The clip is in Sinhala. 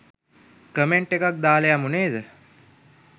කමෙන්ට් එකක් දාලා යමු නේද?